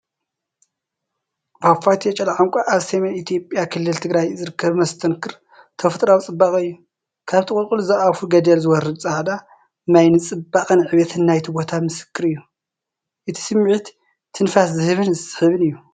ፏፏቴ ቸሌኣንኳ ኣብ ሰሜን ኢትዮጵያ ክልል ትግራይ ዝርከብ መስተንክር ተፈጥሮኣዊ ፅባቐ እዩ። ካብቲ ቁልቁል ዝኣፉ ገደል ዝወርድ ጻዕዳ ማይ ንጽባቐን ዕቤትን ናይቲ ቦታ ምስክር እዩ። እቲ ስምዒት ትንፋስ ዝህብን ዝስሕብን እዩ።